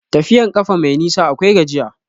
Tafiyan ƙafa mai nisa akwai gajiya.